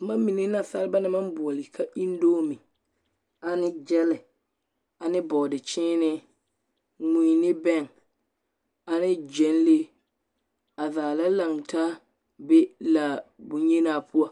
Boma mine nansaleba naŋ boͻle ka endoomi ane gyԑlԑ ane bͻͻde-kyeenee, mui ne bԑŋ ane gyԑnlee. A zaa la lantaa a be laa yenaa poͻ.